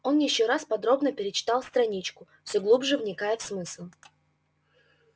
он ещё раз подробно перечитал страничку все глубже вникая в смысл